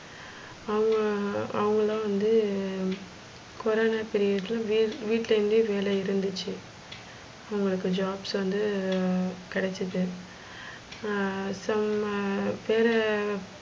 அவங்க அவங்கள்ளு வந்து கொரான period ல வீட் வீடுலேந்து வேல இருந்துச்சி. அவங்களுக்க jobs வந்து கெடச்சிது. செம்ம பேர